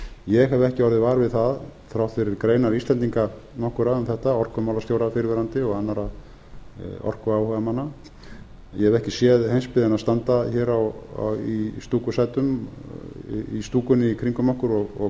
ég hef ekki orðið var við það þrátt fyrir greinar íslendinga nokkurra um þetta orkumálastjóra fyrrverandi og annarra orkuáhugamanna ég hef ekki séð heimsbyggðina standa hér í stúkusætum í stúkunni í kringum okkur og